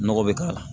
Nɔgɔ bɛ k' ala